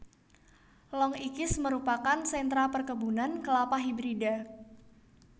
Long Ikis merupakan sentra perkebunan Kelapa Hibrida